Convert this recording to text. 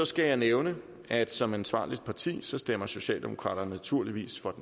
skal jeg nævne at som ansvarligt parti stemmer socialdemokraterne naturligvis for